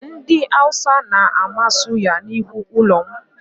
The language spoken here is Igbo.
Ndị Awụsa na-amị suya n'ihu ụlọ m